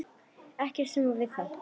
Ekkert sætt við það!